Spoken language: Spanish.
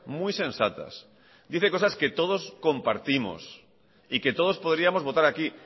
muy sensatas dice cosas que todos compartimos y que todos podríamos votar aquí